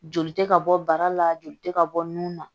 Joli tɛ ka bɔ bara la joli tɛ ka bɔ nun na